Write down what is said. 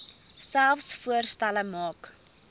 selfs voorstelle maak